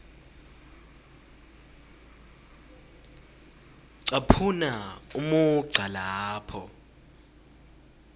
caphuna umugca lapho